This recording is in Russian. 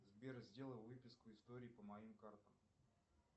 сбер сделай выписку историй по моим картам